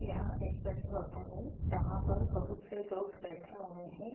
यहाँ एक बड़ी होटल है जहाँ पर बहुत से लोग बैठे हुए हैं।